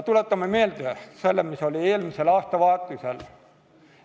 Tuletame meelde, mis oli eelmisel aastavahetusel.